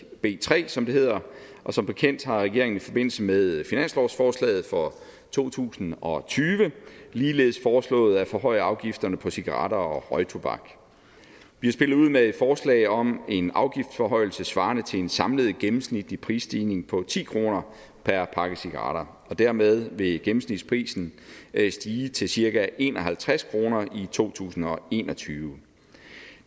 b tre som det hedder og som bekendt har regeringen i forbindelse med finanslovsforslaget for to tusind og tyve ligeledes foreslået at forhøje afgifterne på cigaretter og røgtobak vi har spillet ud med et forslag om en afgiftsforhøjelse svarende til en samlet gennemsnitlig prisstigning på ti kroner per pakke cigaretter dermed vil gennemsnitsprisen stige til cirka en og halvtreds kroner i to tusind og en og tyve